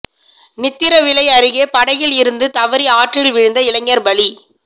நித்திரவிளை அருகே படகில் இருந்து தவறி ஆற்றில் விழுந்த இளைஞா் பலி